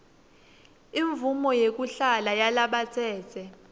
imvumo yekuhlala yalabatsetse